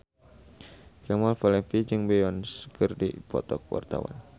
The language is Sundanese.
Kemal Palevi jeung Beyonce keur dipoto ku wartawan